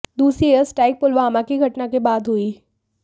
दूसरी air strike Pulwama की घटना के बाद हुई